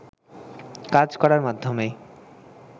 কাজ করার মাধ্যমেই